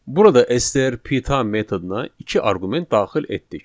Burada STR P time metoduna iki arqument daxil etdik.